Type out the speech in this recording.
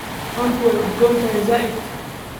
Toonta waa udgoon tahay zaid.